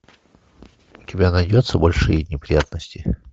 у тебя найдется большие неприятности